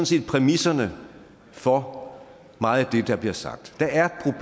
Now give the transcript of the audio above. set præmisserne for meget det der bliver sagt der er